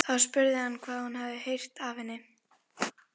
Þá spurði hann hvað hún hefði heyrt af henni.